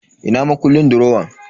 Ina makullin durowan?